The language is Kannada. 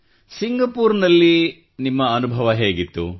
ಸಿಂಗಪೂರ್ನಲ್ಲಿಯ ಅನುಭವ ಹೇಗಿತ್ತು